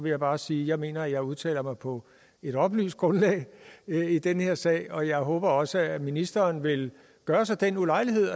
jeg bare sige at jeg mener jeg udtaler mig på et oplyst grundlag i den her sag og jeg håber også at ministeren vil gøre sig den ulejlighed